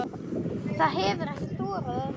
Það hefir ekki þorað öðru.